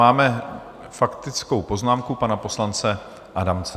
Máme faktickou poznámku pana poslance Adamce.